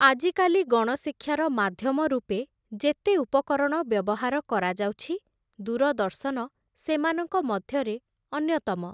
ଆଜିକାଲି ଗଣଶିକ୍ଷାର ମାଧ୍ୟମ ରୂପେ, ଯେତେ ଉପକରଣ ବ୍ୟବହାର କରାଯାଉଛି, ଦୂରଦର୍ଶନ ସେମାନଙ୍କ ମଧ୍ୟରେ ଅନ୍ୟତମ ।